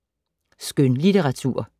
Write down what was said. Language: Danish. Skønlitteratur